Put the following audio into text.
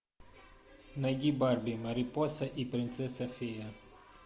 найди барби марипоса и принцесса фея